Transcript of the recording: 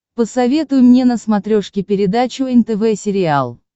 посоветуй мне на смотрешке передачу нтв сериал